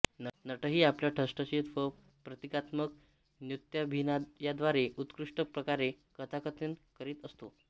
नटही आपल्या ठसठशीत व प्रतीकात्मक नृत्याभिनयाद्वारे उत्कृष्ट प्रकारे कथाकथन करीत असतो